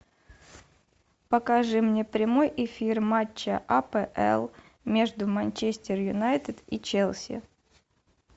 покажи мне прямой эфир матча апл между манчестер юнайтед и челси